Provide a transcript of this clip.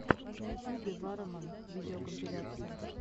на ютьюбе варроман видеокомпиляция